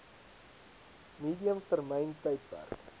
medium termyn tydperk